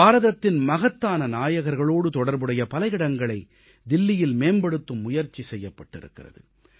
பாரதத்தின் மகத்தான நாயகர்களோடு தொடர்புடைய பல இடங்களை தில்லியில் மேம்படுத்தும் முயற்சி செய்யப்பட்டிருக்கிறது